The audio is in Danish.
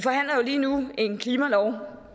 lige nu en klimalov